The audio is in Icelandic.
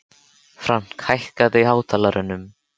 Frank, hækkaðu í hátalaranum.